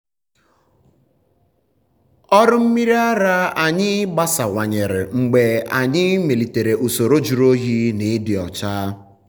ọrụ mmiri ara anyị gbasawanyere mgbe anyị melitere usoro jụrụ oyi na ịdị ọcha.